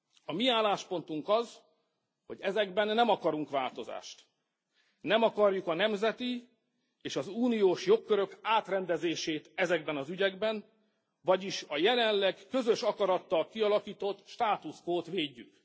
A mi álláspontunk az, hogy ezekben nem akarunk változást, nem akarjuk a nemzeti és az uniós jogkörök átrendezését ezekben az ügyekben, vagyis a jelenleg közös akarattal kialakított status quót védjük.